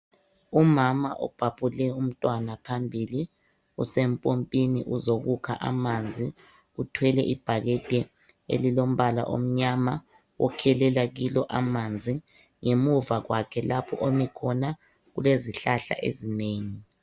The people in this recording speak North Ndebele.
Umama ubhabhule umntwana phambili. Usempompini uzokukha amanzi. Uthwele ibhakedi elilombala omnyama. Ukhelela kilo amanzi. Ngemuva kwakhe lapho ami khona kulezihlahla ezinengi.